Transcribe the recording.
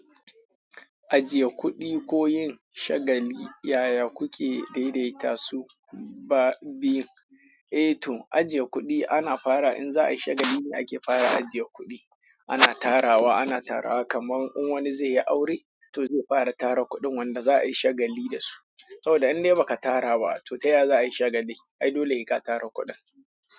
Ajiye kuɗi koyin shagali yaya kuke daidaita su ba biyun? Eh to ajiye kuɗi ana fara in za a yi shagali ne ake fara ajiye kuɗi. Ana tarawa, ana tarawa kaman in wani zai yi aure to zai fara tara kuɗin wanda za a yi shagali da su. Sau da in dai ba ka tara ba to taya za a yi shagali? Ai dole he ka tara kuɗin.